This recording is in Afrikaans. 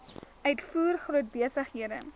uitvoer groot besighede